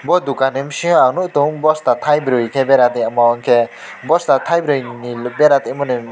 aw dukan ni bisingo ang nug tong bosta tai bwri ke bera de omo ke bosta tai bri ni bera tong mani.